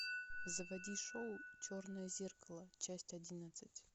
заводи шоу черное зеркало часть одиннадцать